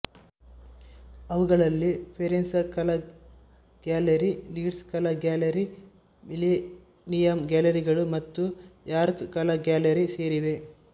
ಅವುಗಳಲ್ಲಿ ಫೆರೆನ್ಸ್ ಕಲಾ gallery Leeds ಕಲಾ ಗ್ಯಾಲರಿ ಮಿಲೇನಿಯಂ ಗ್ಯಾಲರಿಗಳು ಮತ್ತು ಯಾರ್ಕ್ ಕಲಾ ಗ್ಯಾಲರಿ ಸೇರಿವೆ